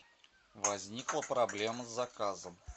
возникла проблема с заказом